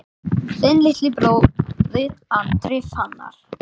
Þinn litli bróðir, Andri Fannar.